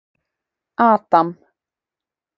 Adam